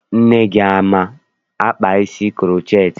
Nne gị ama-akpa isi kuroceti?